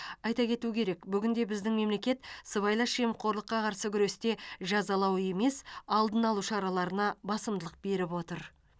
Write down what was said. айта кету керек бүгінде біздің мемлекет сыбайлас жемқорлыққа қарсы күресте жазалау емес алдын алу шараларына басымдылық беріп отыр